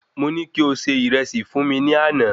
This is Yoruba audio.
Mo ní kí o se Ìrẹsì fún mi ní àná